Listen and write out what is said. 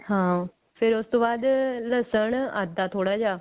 ਹਾਂ ਫੇਰ ਉਸ ਤੋਂ ਬਾਅਦ ਲਸਣ ਅੱਧਾ ਥੋੜਾ ਜਿਹਾ